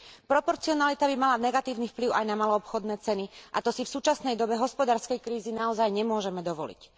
Proporcionalita by mala negatívny vplyv aj na maloobchodné ceny a to si v súčasnej dobe hospodárskej krízy naozaj nemôžeme dovoliť.